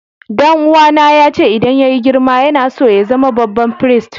Dan uwa na ya ce idan yayi girma yana so ya zama babban firist.